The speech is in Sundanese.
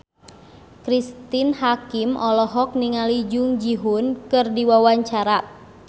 Cristine Hakim olohok ningali Jung Ji Hoon keur diwawancara